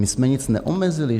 My jsme nic neomezili.